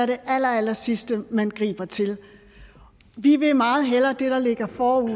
det allerallersidste man griber til vi vil meget hellere have det der ligger forud